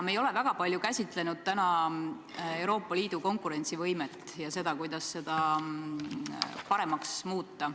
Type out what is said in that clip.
Me ei ole väga palju käsitlenud täna Euroopa Liidu konkurentsivõimet ega seda, kuidas seda paremaks muuta.